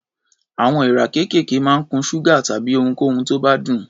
Àwọn èèrà kéékèèké máa ń kun ṣúgà tàbí ohunkóhun tó bá dùn.